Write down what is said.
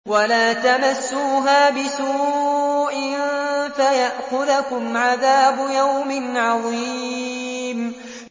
وَلَا تَمَسُّوهَا بِسُوءٍ فَيَأْخُذَكُمْ عَذَابُ يَوْمٍ عَظِيمٍ